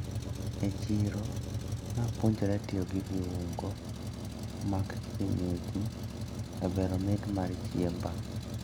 E chiro napuonjra tiyo gi viungo mag kienyeji e bero mit mar chiemba.